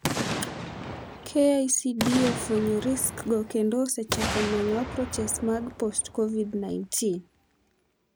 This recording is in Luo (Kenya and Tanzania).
KICD osefwenyo risks go kendo osechako manyo approaches mag post Covid-19.